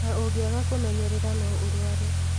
Na ũngĩaga kwimenyerera no ũrũare